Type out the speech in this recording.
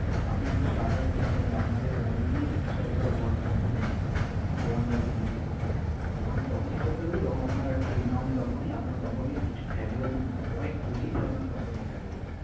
আপনি একটা startup company আপনাকে কোনদিনই সরকার bond করতে দেবে না। bond আরকি বিক্রি করতে দেবে না। bond তখনই করতে দেবে যখন আপনার একটা renowned company আপনার company র কিছু valuation আছে, কয়েক কোটিতে আপনার company valuation